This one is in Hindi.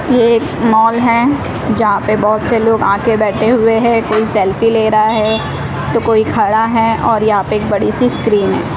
ये एक मॉल है जहां पे बहोत से लोग आके बैठे हुए हैं कोई सेल्फी ले रहा है तो कोई खड़ा है और यहां पे एक बड़ी सी स्क्रीन है।